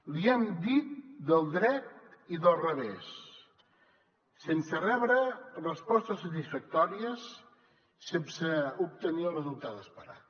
li hem dit del dret i del revés sense rebre respostes satisfactòries sense obtenir el resultat esperat